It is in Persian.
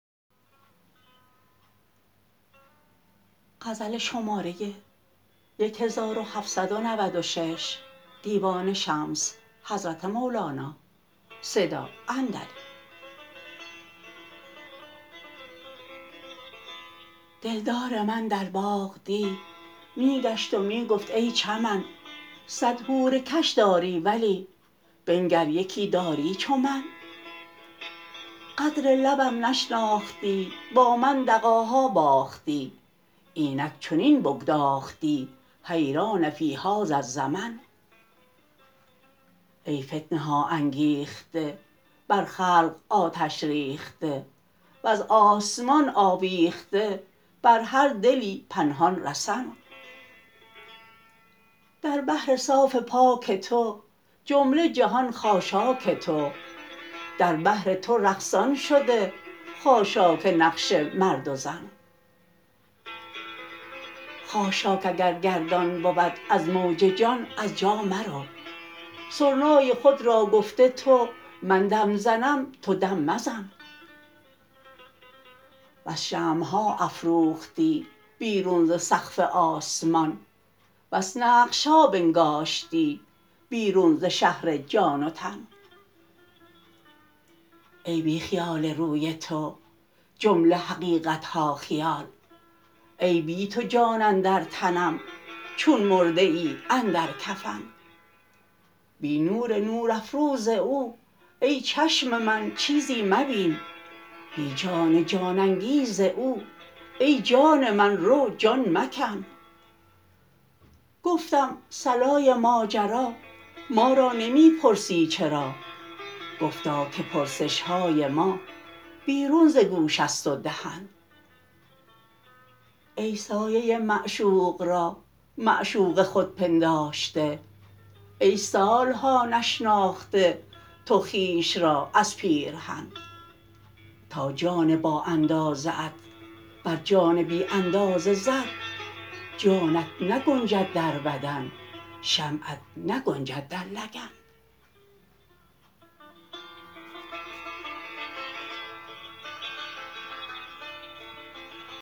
دلدار من در باغ دی می گشت و می گفت ای چمن صد حور کش داری ولی بنگر یکی داری چو من قدر لبم نشناختی با من دغاها باختی اینک چنین بگداختی حیران فی هذا الزمن ای فتنه ها انگیخته بر خلق آتش ریخته وز آسمان آویخته بر هر دلی پنهان رسن در بحر صاف پاک تو جمله جهان خاشاک تو در بحر تو رقصان شده خاشاک نقش مرد و زن خاشاک اگر گردان بود از موج جان از جا مرو سرنای خود را گفته تو من دم زنم تو دم مزن بس شمع ها افروختی بیرون ز سقف آسمان بس نقش ها بنگاشتی بیرون ز شهر جان و تن ای بی خیال روی تو جمله حقیقت ها خیال ای بی تو جان اندر تنم چون مرده ای اندر کفن بی نور نورافروز او ای چشم من چیزی مبین بی جان جان انگیز او ای جان من رو جان مکن گفتم صلای ماجرا ما را نمی پرسی چرا گفتا که پرسش های ما بیرون ز گوش است و دهن ای سایه معشوق را معشوق خود پنداشته ای سال ها نشناخته تو خویش را از پیرهن تا جان بااندازه ات بر جان بی اندازه زد جانت نگنجد در بدن شمعت نگنجد در لگن